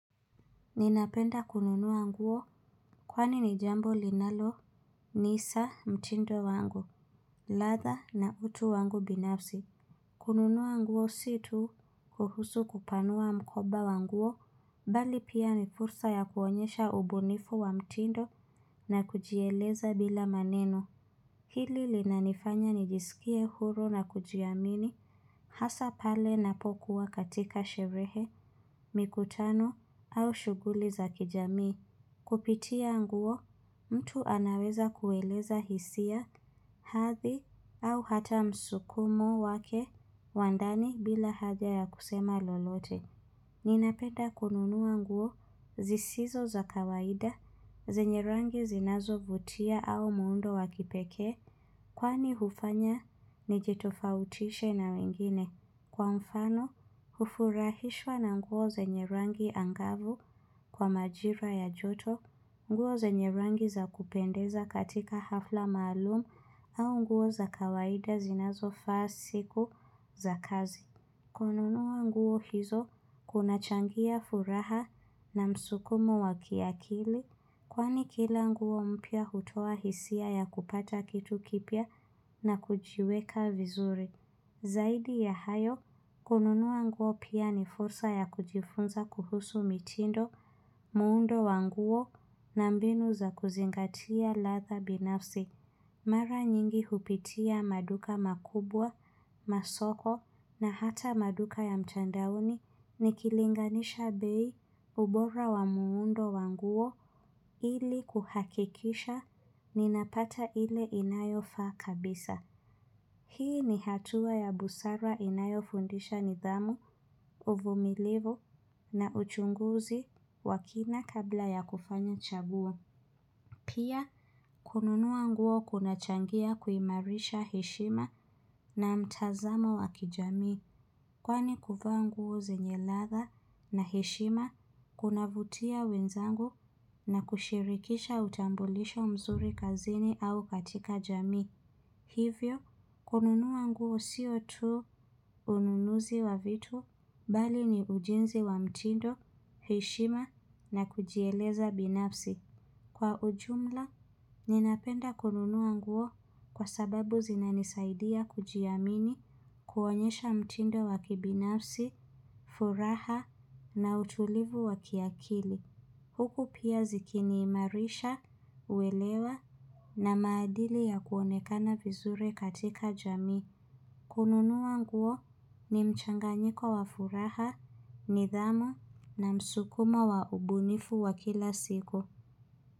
Ninapenda kununua nguo kwani ni jambo linalonisa mtindo wangu ladha na utu wangu binafsi kununua nguo si tu kuhusu kupanua mkoba wa nguo Bali pia ni fursa ya kuonyesha ubunifu wa mtindo na kujieleza bila maneno Hili linanifanya nijisikie huru na kujiamini Hasa pale napokuwa katika sherehe mikutano au shughuli za kijamii Kupitia nguo, mtu anaweza kueleza hisia, hadhi au hata msukumo wake, wa ndani bila haja ya kusema lolote. Ninapenda kununua nguo, zisizo za kawaida, zenye rangi zinazovutia au muundo wa kipekee. Kwani hufanya, nijitofautishe na wengine. Kwa mfano, hufurahishwa na nguo zenye rangi angavu kwa majira ya joto, nguo zenye rangi za kupendeza katika hafla maalum au nguo za kawaida zinazofaa siku za kazi. Kununua nguo hizo kunachangia furaha na msukumo wa kiakili kwani kila nguo mpya hutoa hisia ya kupata kitu kipya na kujiweka vizuri. Zaidi ya hayo, kununua nguo pia ni fursa ya kujifunza kuhusu mitindo muundo wa nguo na mbinu za kuzingatia ladha binafsi. Mara nyingi hupitia maduka makubwa, masoko na hata maduka ya mtandaoni nikilinganisha bei ubora wa muundo wa nguo ili kuhakikisha ninapata ile inayofaa kabisa. Hii ni hatua ya busara inayofundisha nidhamu, uvumilivu na uchunguzi wa kina kabla ya kufanya chaguo. Pia, kununua nguo kunachangia kuimarisha heshima na mtazamo wa kijamii. Kwani kuvaa nguo zenye ladha na heshima, kunavutia wenzangu na kushirikisha utambulisho mzuri kazini au katika jamii. Hivyo, kununua nguo sio tu ununuzi wa vitu bali ni ujenzi wa mtindo, heshima na kujieleza binafsi. Kwa ujumla, ninapenda kununua nguo kwa sababu zinanisaidia kujiamini kuonyesha mtindo wa kibinafsi, furaha na utulivu wa kiakili. Huku pia zikiniimarisha, uelewa na maadili ya kuonekana vizuri katika jamii. Kununua nguo ni mchanganyiko wa furaha, nidhamu na msukumo wa ubunifu wa kila siku.